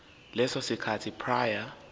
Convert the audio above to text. leso sikhathi prior